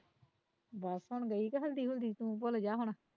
ਬਸ ਹੁਣ ਗਈ ਕੇ ਹਲਦੀ ਹੁਲਦੀ ਤੂੰ ਭੁੱਲਜਾ ਹੁਣ